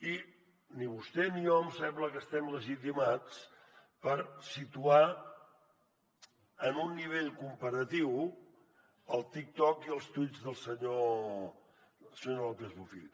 i ni vostè ni jo em sembla que estem legitimats per situar en un nivell comparatiu el tiktok i els tuits del senyor lópez bofill